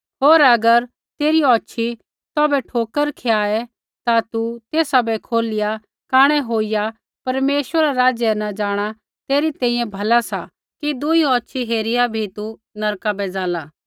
होर अगर तेरी औछ़ी तौभै ठोकर खियाए ता तू तेसा बै खोलिया कांणै होईया परमेश्वरा रै राज्य न जाँणा तेरै तैंईंयैं भला सा कि दुई औछ़ी होईया भी तू नरका बै जाला